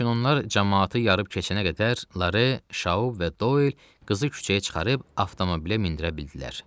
Lakin onlar camaatı yarıb keçənə qədər Lare, Şaub və Doil qızı küçəyə çıxarıb avtomobilə mindirə bildilər.